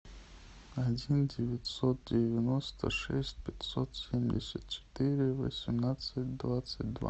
один девятьсот девяносто шесть пятьсот семьдесят четыре восемнадцать двадцать два